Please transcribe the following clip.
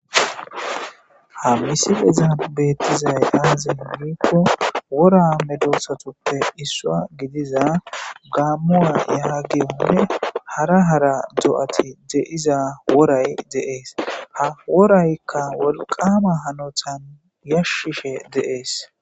ha misifeza beettizay aaze hingikko wora medosatuppe issua gidiza gaammua yaha giyonne hara hara do7ati de7iza woray deees ha woraykka wolqama hanotan yashshishe deees